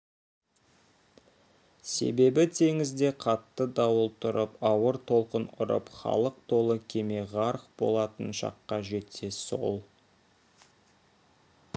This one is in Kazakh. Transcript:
себебі теңізде қатты дауыл тұрып ауыр толқын ұрып халық толы кеме ғарқ болатын шаққа жетсе сол